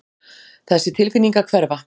Þessi tilfinning að hverfa.